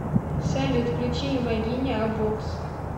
салют включи имагине а бокс